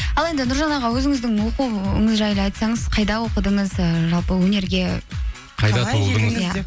ал енді нұржан аға өзіңіздің оқуыңыз жайлы айтсаңыз қайда оқыдыңыз ы жалпы өнерге